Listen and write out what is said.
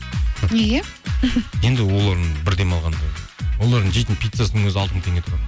неге енді олардың бір демалғанда олардың жейтін пиццасының өзі алты мың теңге тұрады